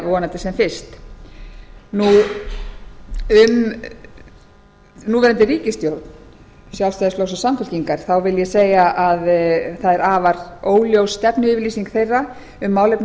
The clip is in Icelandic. vonandi sem fyrst um núverandi ríkisstjórn sjálfstæðisflokks og samfylkingar vil ég segja að það er afar óljós stefnuyfirlýsing þeirra um málefni